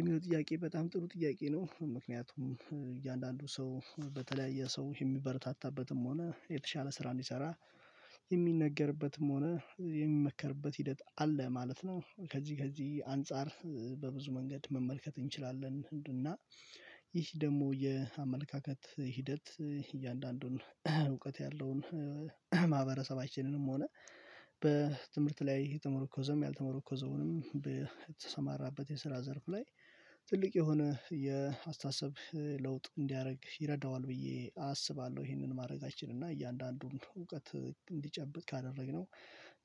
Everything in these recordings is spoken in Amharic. የሚለው ጥያቄ በጣም ጥሩ ጥያቄ ነው። ምክንያቱም እያንዳንዱ ሰው በተለያየ ሰው የሚበረታታበትም ሆነ የተሻለ ስራ እንዲሰራ የሚነገርበትም ሆነ የሚመከርበት ሂደት አለ ማለት ነው። ከዚህ ከዚህ አንፃር በብዙ መንገድ መመልከት እንችላለን። እንዲና እና ይህ ደግሞ የአመለካከት ሂደት እያንዳንዱን እውቀት ያለውን ማህበረሰባችንንም ሆነ በትምህርት ላይ የተመረኮዘም ያልተመረኮዘውንም በተሰማራበት የስራ ዘርፍ ላይ ትልቅ የሆነ የአስተሳሰብ ለውጥ እንዲያደርግ ይረዳዋል ብዬ አስባለሁ። ይሄንን ማድረጋችን እና እያንዳንዱን እውቀት እንዲጨብጥ ካደረግነው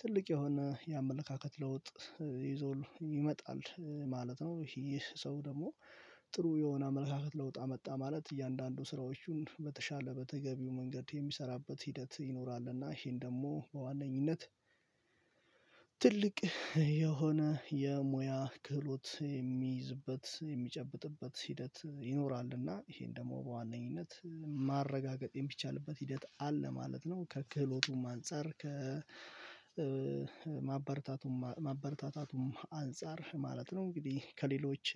ትልቅ የሆነ የአመለካከት ለውጥ ይዞልህ ይመጣል ማለት ነው። ይህ ሰው ደግሞ ጥሩ የሆነ አመለካከት ለውጥ አመጣ ማለት እያንዳንዱ ስራዎቹን በተሻለ በተገቢው መንገድ የሚሰራበት ሂደት ይኖራልና ይሄን ደግሞ በዋነኝነት ትልቅ የሆነ የሙያ ክህሎት የሚይዝበት፤ የሚጨብጥበት ሂደት ይኖራል እና ይሄን ደግሞ በዋነኝነት ማረጋገጥ የሚቻልበት ሂደት አለ ማለት ነው። ከክህሎቱም አንፃር ከማበርታት ማበረታታቱም አንፃር ማለት ነው። እንግዲህ ከሌሎች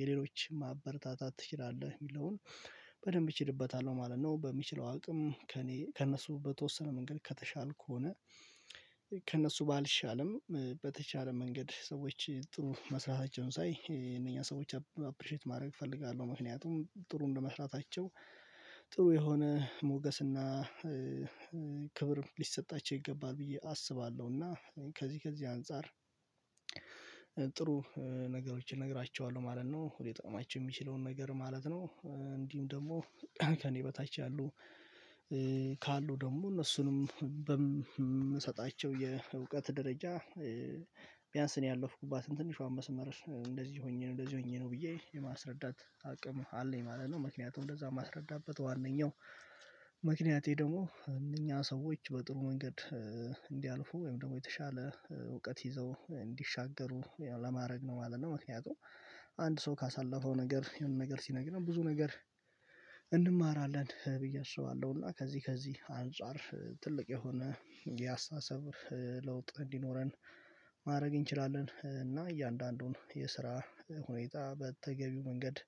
የሌሎች ማበረታታት ትችላለህ? የሚለውን በደንብ እችልበታለሁ ማለት ነው። በምችለው አቅም ከእኔ ከእነሱ በተወሰነ መንገድ ከተሻልኩ ከሆነ ከእነሱ ባልሻልም በተቻለ መንገድ ሰዎች ጥሩ መስራታቸውን ሳይ የእነኛ ሰዎች አፕሪሼት ማድረግ እፈልጋለሁ። ምክንያቱም ጥሩ እንደመስራታቸው ጥሩ የሆነ ሞገስና ክብር ሊሰጣቸው ይገባል ብዬ አስባለሁና ከዚህ ከዚህ አንፃር ጥሩ ነገሮችን እነግራችኋለሁ ማለት ነው። ሊጠቅማቸው የሚችለውን ነገር ማለት ነው። እንዲሁም ደግሞ ከእኔ በታች ያሉ ካሉ ደግሞ እነሱንም የእውቀት ደረጃ ቢያንስ እኔ ያለፍኩባትን ትንሿን መስመር "እንደዚህ ሆኜ ነው እንደዚህ ሆኜ ነው" ብዬ የማስረዳት አቅም አለኝ ማለት ነው። ምክንያቱም እንደዛ የማስረዳበት ዋናው ምክንያቴ ደግሞ እነኛ ሰዎች በጥሩ መንገድ እንዲያልፉ ወይም ደግሞ የተሻለ እውቀት ይዘው እንዲሻገሩ ለማድረግ ነው ማለት ነው። ምክንያቱም አንድ ሰው ካሳለፈው ነገር የሆነ ነገር ሲነግረን ብዙ ነገር እንማራለን ብዬ አስባለሁ። እና ከዚህ ከዚህ አንፃር ትልቅ የሆነ የአስተሳሰብ ለውጥ እንዲኖረን ማድረግ እንችላለን። እና እያንዳንዱን የስራ ሁኔታ በተገቢው መንገድ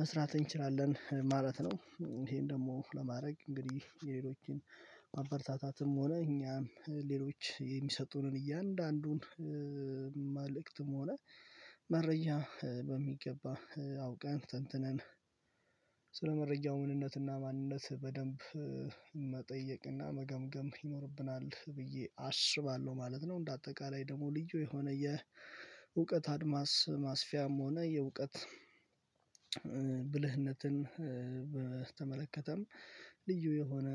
መስራት እንችላለን ማለት ነው። ይሄን ደግሞ ለማድረግ እንግዲህ የሌሎችን ማበረታታትም ሆነ እኛም ሌሎች የሚሰጡንን እያንዳንዱን መልእክትም ሆነ መረጃ በሚገባ አውቀን ተንትነን ስለመረጃው ምንነትና ማንነት በደንብ መጠየቅና መገምገም ይኖርብናል ብዬ አስባለሁ ማለት ነው። እንደ አጠቃላይ ደግሞ ልዩ የሆነ የእውቀት አድማስ ማስፊያም ሆነ የእውቀት ብልህነትን በተመለከተም ልዩ የሆነ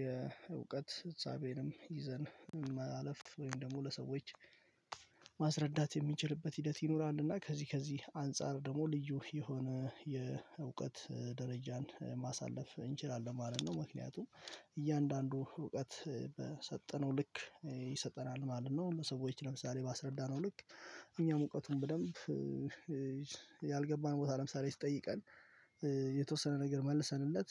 የእውቀት ፍጻሜንም ይዘን ማለፍ ወይም ደግሞ ለሰዎች ማስረዳት የሚችልበት ሂደት ይኖራል እና ከዚህ ከዚህ አንፃር ደግሞ ልዩ የሆነ የእውቀት ደረጃን ማሳለፍ እንችላለን ማለት ነው ምክንያቱም እያንዳንዱ እውቀት በሰጠነው ልክ ይሰጠናል ማለት ነው ለሰዎች ለምሳሌ ባስረዳነው ልክ እኛም እውቀቱን በደንብ ቦታ ለምሳሌ ሲጠይቀን የተወሰነ ነገር መልሰንለት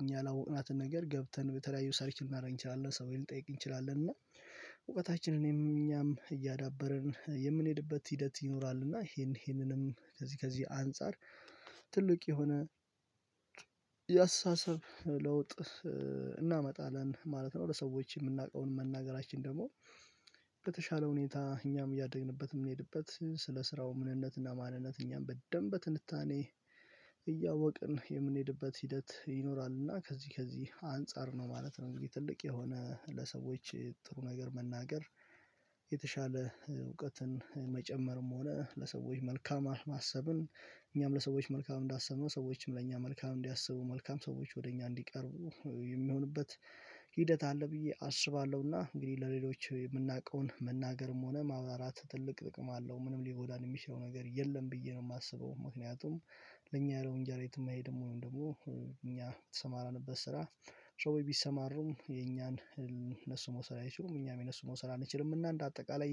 እኛ ያላወቅናትን ነገር ገብተን በተለያዩ ሰርች ልናደርግ እንችላለን ሰዎች ልንጠይቅ እንችላለን እና እውቀታችንንም እኛም እያዳበርን የምንሄድበት ሂደት ይኖራል እና ይሄንንም ከዚህ ከዚህ አንፃር ትልቅ የሆነ የአስተሳሰብ ለውጥ እናመጣለን ማለት ነው። ለሰዎች የምናውቀውን መናገራችን ደግሞ በተሻለ ሁኔታ እኛም እያደግንበት የምንሄድበት ስለ ስራው ምንነትና ማንነት እኛም በደንብ በትንታኔ የምንሄድበት ሂደት ይኖራልና ከዚህ ከዚህ አንፃር ነው ማለት ነው እንግዲህ ትልቅ የሆነ ለሰዎች ጥሩ ነገር መናገር የተሻለ እውቀትን መጨመርም ሆነ ለሰዎች መልካም ማሰብን እኛም ለሰዎች መልካም እንዳሰብነው ሰዎችም ለእኛ መልካም እንዲያስቡ መልካም ሰዎች ወደ እኛ እንዲቀርቡ የሚሆንበት ሂደት አለ ብዬ አስባለሁና እንግዲህ ለሌሎች የምናውቀውን መናገርም ሆነ ማብራራት ትልቅ ጥቅም አለው። ምንም ሊጎዳን የሚችለው ነገር የለም ብዬ ነው የማስበው። ምክንያቱም ለኛ ያለው እንጀራ የትም አይሄድም ወይም ደግሞ እኛ በተሰማራንበት ስራ ሰዎች ቢሰማሩም የኛን እነሱ መውሰድ አይችሉም እኛም የእነሱን መውሰድ አንችልምና እንደ አጠቃላይ